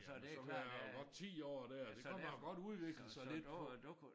Så kan jeg jo godt 10 år der det kan man jo godt udvikle sig lidt på